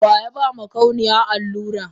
Wayaba makauniyan allura?